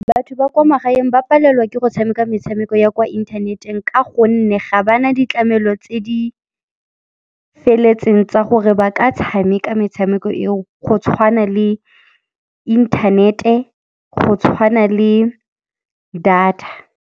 Batho ba kwa magaeng ba palelwa ke go tshameka metshameko ya kwa inthaneteng ka gonne ga ba na ditlamelo tse di feletseng tsa gore ba ka tshameka metshameko eo, go tshwana le inthanete, go tshwana le data.